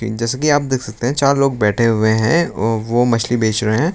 जैसे कि आप देख सकते हैं चार लोग बैठे हुए हैं वो वो मछली बेच रहे हैं।